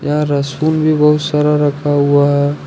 रसूल भी बहुत सारा रखा हुआ है।